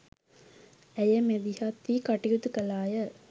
ඇය මැදිහත් වී කටයුතු කළාය.